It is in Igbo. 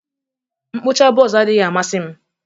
mkpụcha buzz adịghị amasị m